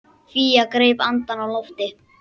Fía greip andann á lofti.